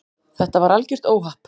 Þetta var algjört óhapp.